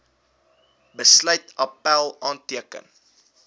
besluit appèl aanteken